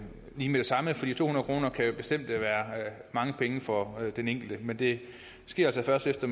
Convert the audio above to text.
samme for to hundrede kroner kan bestemt være mange penge for den enkelte men det sker altså først efter